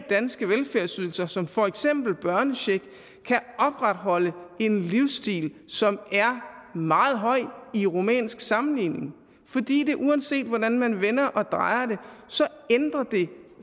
danske velfærdsydelser som for eksempel børnecheck kan opretholde en livsstil som er meget høj i rumænsk sammenligning fordi det uanset hvordan man vender og drejer det ændrer